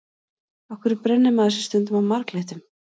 Af hverju brennir maður sig stundum á marglyttum?